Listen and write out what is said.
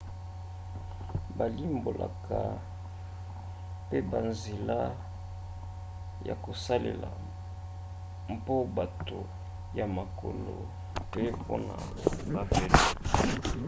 balimbolaka pe banzela ya kosalela mpona bato ya makolo pe mpona bavelo